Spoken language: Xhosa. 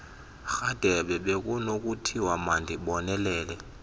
rhadebe bekunokuthiwa mandibonele